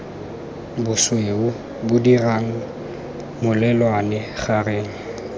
bosweu bo dirang molelwane gareng